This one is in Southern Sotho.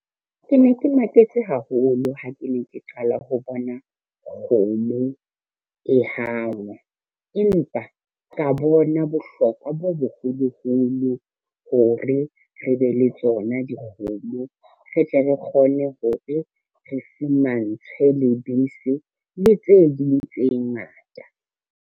Ke ne ke maketse haholo ha ke ne ke qala ho bona kgomo e hangwa, empa ka bona bohlokwa bo boholoholo hore re be le tsona dikgomo, re tle re kgone hore re fumantshwe lebese le tse ding tse ngata.